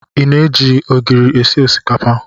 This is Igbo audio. I na-eji ogiri esi osikapa?